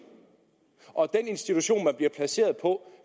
og den institution man bliver placeret på